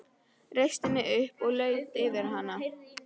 Reisti mig upp og laut yfir hana.